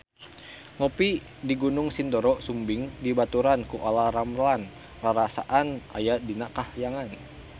Ngopi di Gunung Sindoro Sumbing dibaturan ku Olla Ramlan rarasaan aya di kahyangan